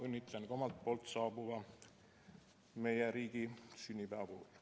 Õnnitlen ka omalt poolt meie riigi saabuva sünnipäeva puhul!